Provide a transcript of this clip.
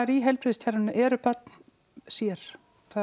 í heilbrigðiskerfinu eru börn sér